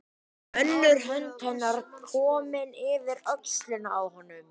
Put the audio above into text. Önnur hönd hennar er komin yfir öxlina á honum.